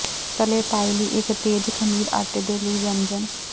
ਤਲੇ ਪਾਈ ਲਈ ਇੱਕ ਤੇਜ਼ ਖਮੀਰ ਆਟੇ ਦੇ ਲਈ ਵਿਅੰਜਨ